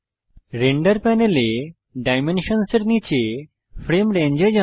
render প্যানেলে ডাইমেনশনসের নীচে ফ্রেম রেঞ্জ এ যান